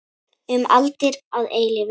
Um aldir og að eilífu.